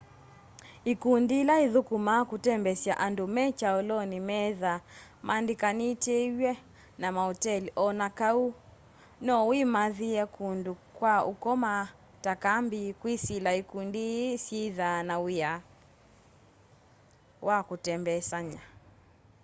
ikũndĩ ila ĩthũkũmaa kũtembesya andũ me kyalonĩ nĩmethaa maandĩkanĩtewĩa na maotelĩ o na kaũ no wĩmathĩe kũndũ kwa ũkoma ta kambĩ kwĩsĩla ĩkũndĩ ii syĩthaa na wĩa wa kũtembesanya